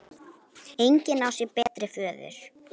Engin á sér betri föður.